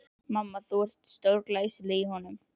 Mamma, þú ert stórglæsileg í honum.